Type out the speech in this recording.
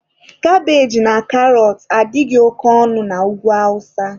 Kabeji na karọt adịghị oke ọnụ na Ugwu awụsa.